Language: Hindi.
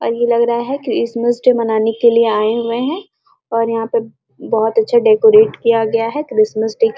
और ये लग रहा की क्रिसमस मानाने के लिए आए हुए है और यहाँ पर बहुत अच्छा डेकोरेट किया गया है क्रिसमस डे --